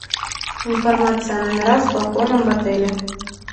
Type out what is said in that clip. информация о номерах с балконом в отеле